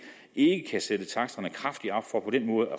ikke kan sætte taksterne kraftigt op for på den måde at